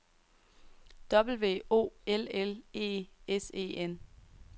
W O L L E S E N